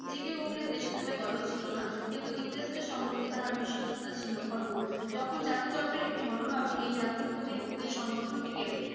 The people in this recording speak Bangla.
জি কে গোখলের দেশ প্রেমে গলদ ছিল না কিন্তু ইংরেজদের সম্পর্কে তাহার বিশ্বস্ততা ছিল অটুট। যখন জাতীয় দর্পের একটি মনোভাব এই জাতীয় প্রতিনিধিদের সংগঠনটিকে